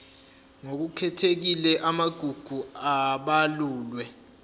ngokukhethekile amagugu abalulwe